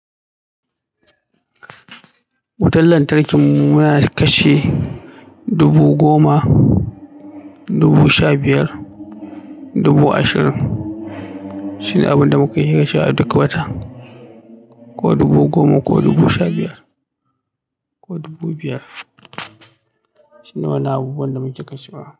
Wutan lantarki muna kashe dubu goma, dubu sha biyar, dubu ashirin. Shine abin da muka iya kashewa a duk wata, ko dubu goma ko dubu sha biyar ko dubu biyar. Shine wannan abubuwan da muke kashewa.